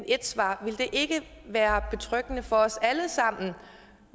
ét svar ville det ikke være betryggende for os alle sammen